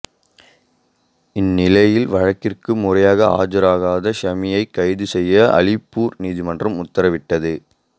இந்நிலையில் வழக்கிற்கு முறையாக ஆஜராகாத ஷமியை கைது செய்ய அலிப்பூர் நீதிமன்றம் உத்தரவிட்டது